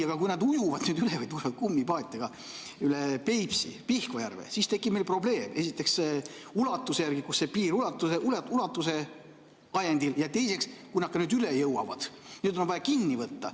Aga kui nad ujuvad üle või tulevad kummipaatidega üle Peipsi ja Pihkva järve, siis tekib meil probleem esiteks ulatuse ajendil, kus see piir on, ja teiseks, kui nad üle jõuavad, siis nad on vaja kinni võtta.